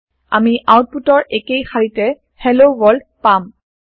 আমি আওতপুত ৰ একেই শাৰিতে হেল্ল ৱৰ্ল্ড পাম